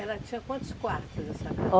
Ela tinha quantos quartos, assim, a casa?